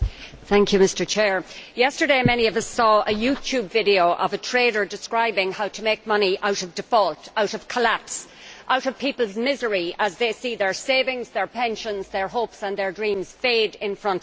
Mr President, yesterday many of us saw the YouTube video of a trader describing how to make money out of default, out of collapse, out of people's misery as they see their savings, their pensions, their hopes and their dreams fade in front of their eyes.